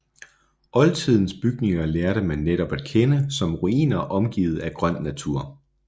Oldtidens bygninger lærte man netop at kende som ruiner omgivet af grøn natur